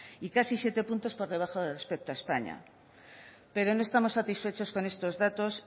y casi siete puntos por debajo respecto a españa pero no estamos satisfechos con estos datos